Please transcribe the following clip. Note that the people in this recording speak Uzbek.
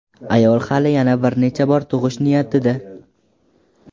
Ayol hali yana bir necha bor tug‘ish niyatida.